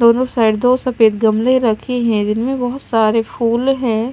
दोनों साइड दो सफेद गमले रखे हैं जिनमे में बहोत सारे फूल हैं।